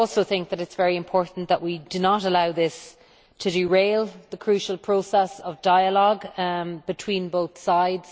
I also think that it is very important that we do not allow this to derail the crucial process of dialogue between both sides.